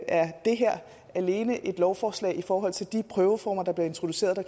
er det her alene et lovforslag i forhold til de prøveformer der bliver introduceret og